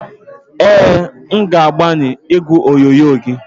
Ee, m ga-agbanwe igwe onyonyo gị.